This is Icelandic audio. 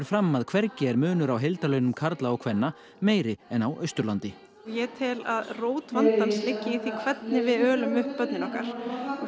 fram að hvergi er munur á heildarlaunum karla og kvenna meiri en á Austurlandi ég tel að rót vandans liggi í því hvernig við ölum upp börnin okkar